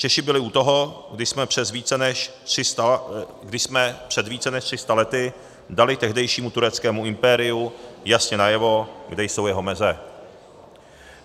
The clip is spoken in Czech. Češi byli u toho, když jsme před více než 300 lety dali tehdejšímu tureckému impériu jasně najevo, kde jsou jeho meze.